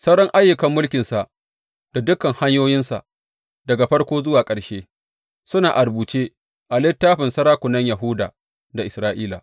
Sauran ayyukan mulkinsa da dukan hanyoyinsa, daga farko zuwa ƙarshe, suna a rubuce a littafin sarakunan Yahuda da Isra’ila.